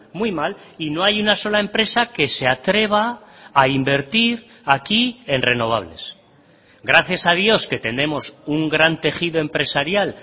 muy mal y no hay una sola empresa que se atreva a invertir aquí en renovables gracias a dios que tenemos un gran tejido empresarial